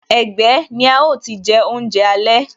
Ẹgbẹ́ ni a ó ti je oúnjẹ alẹ́